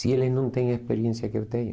Se eles não têm a experiência que eu tenho...